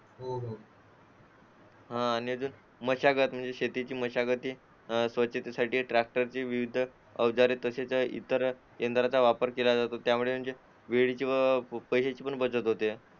हा आणि मशागत म्हणजे शेतीची मशागती स्वच्छतेसाठी ट्रॅक्टरची विविध अवजारे तसेच इतर यंत्रांचा वापर केला जातो त्यामुळे वेळेची व पैशाची पण बचत होते